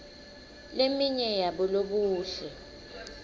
leminye yabolobuhle